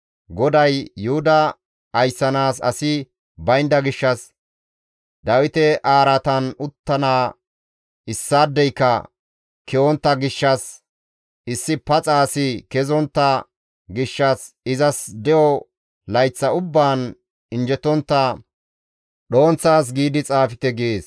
GODAY, «Yuhuda ayssanaas asi baynda gishshas, Dawite araatan uttana issaadeyka ke7ontta gishshas, issi paxa asi kezontta gishshas izas de7o layththa ubbaan injjetontta dhonththa as giidi xaafte» gees.